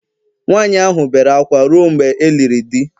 nwaanyị ahụ bere akwa ruo mgbe e liri di